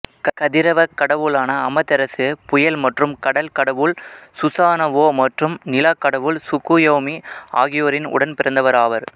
கதிரவக் கடவுளான அமதெரசு புயல் மற்றும் கடல் கடவுள் சுசானவோ மற்றும் நிலா கடவுள் சுக்குயோமி ஆகியோரின் உடன்பிறந்தவர் ஆவர்